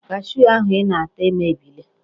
Kashuu ahụ ị na-ata emebiela.